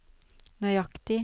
nøyaktig